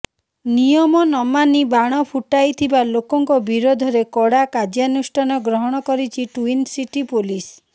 ନିୟମ ନମାନି ବାଣ ଫୁଟାଇଥିବା ଲୋକଙ୍କ ବିରୋଧରେ କଡା କାର୍ଯ୍ୟାନୁଷ୍ଠାନ ଗ୍ରହଣ କରିଛି ଟ୍ବିନସିଟି ପୋଲିସ